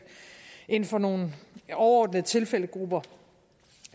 inden for nogle overordnede tilfældegrupper